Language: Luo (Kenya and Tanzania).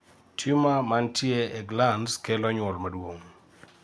tumor mantie ee glands kelo nyuol maduong